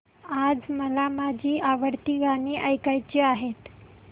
आज मला माझी आवडती गाणी ऐकायची आहेत